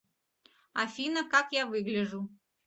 афина как я выгляжу